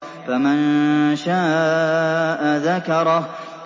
فَمَن شَاءَ ذَكَرَهُ